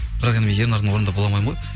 бірақ енді мен ернардың орнында бола алмаймын ғой